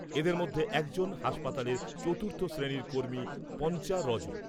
এদের মধ্যে একজন হাসপাতালের চতুর্থ শ্রেণীর কর্মী পঞ্চা রজক।